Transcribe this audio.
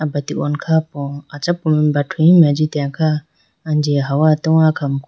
Abratene khapo achapu mai brathuhimi ajitene kha anji hawa towards akhamuku.